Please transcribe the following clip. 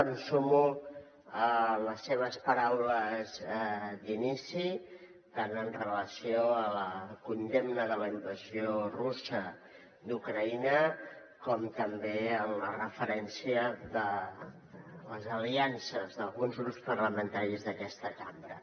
em sumo a les seves paraules d’inici tant amb relació a la condemna de la invasió russa d’ucraïna com també en la referència de les aliances d’alguns grups parlamentaris d’aquesta cambra